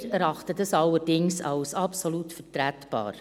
Wir erachten dies allerdings als absolut vertretbar.